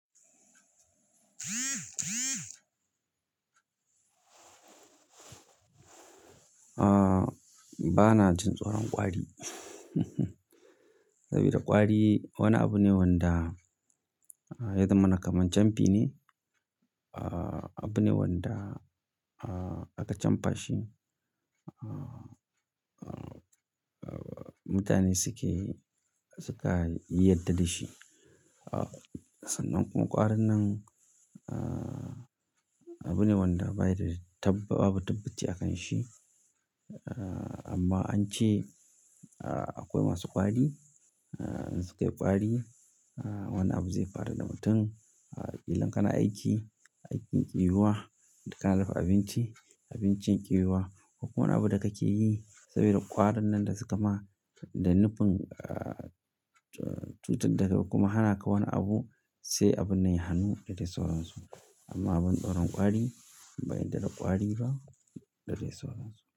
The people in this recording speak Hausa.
Ah, ba na jin tsoron ƙwari sabida ƙwari wani abu ne wanda yadda mun kaman camfi ne. Ah, abu ne wanda ah, aka chamfa shi. Ah, mutane suke, suka yi yadda da shi. Ah, sannan kuma ƙwarin nan ah, abu ne wanda babu, babu tabbaci a kan shi. Ah, amma an ce ah, akwai wasu ƙwari. Sukai kwari wani abu zai faru da mutum. Ah, ƙila kana aiki, aikin ki yiwuwa, idan kana dafa abinci, abincin ki yiwuwa ko wani abu da kake yi saboda ƙwarin nan da suka ma da nufin ah, cutar dakai kuma hana ka wani abu, sai abunnan ya hannu da dai sauran su. Amma abun tsoron ƙwari ban yadda da da ƙwari ba da dai sauran su.